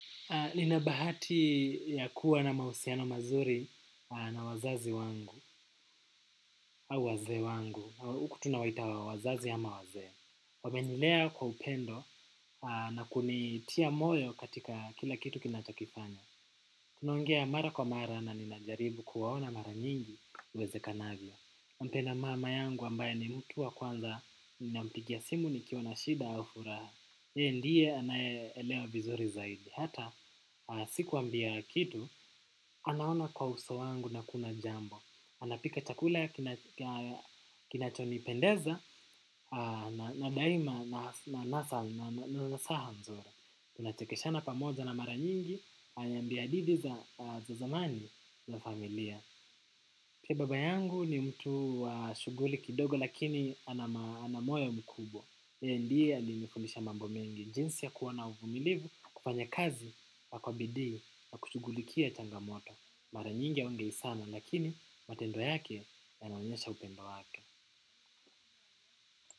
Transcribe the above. Nina bahati ya kuwa na mausiano mazuri na wazazi wangu au wazee wangu. Uku tunawaita wazazi ama waze. Wamenilea kwa upendo na kunitia moyo katika kila kitu kinatakifanya. Tunaongea mara kwa mara na ninajaribu kuwaona mara nyingi iwezekanavyo. Mpenda mama yangu ambaye ni mtu wa kwanza ninampigia simu nikiwa na shida au furaha. Ye ndiye anaye elewa vizuri zaidi. Hata sikuambia kitu. Anaona kwa uso wangu na kuna jambo. Anapika chakula kinachonipendeza na daima na nasaha mzuri. Tunachekesha na pamoja na mara nyingi ananambia hadithi za zamani za familia. Pia baba yangu ni mtu wa shughuli kidogo lakini ana moyo mkubwa. Ye ndiye alinifundisha mambo mengi. Jinsi ya kuwa na uvumilivu, kufanya kazi, kwa kwa bidii, kwa kushugulikia changamoto. Mara nyingi haongei sana lakini matendo yake yananonyesha upendo wake.